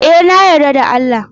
E, na yarda da Allah.